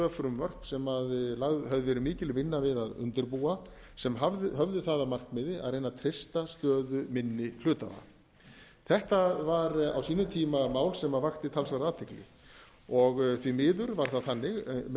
frumvörp sem lögð hafði verið mikil vinna við að undirbúa sem höfðu það að markmiði að reyna að treysta stöðu minni hluthafa þetta var á sínum tíma mál sem vakti talsverða athygli því miður var það þannig með